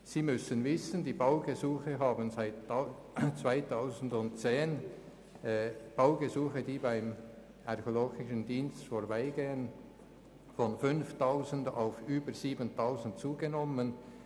Die Anzahl Baugesuche, die auf dem Tisch des Archäologischen Dienstes landen, hat seit 2010 von 5000 auf über 7000 zugenommen.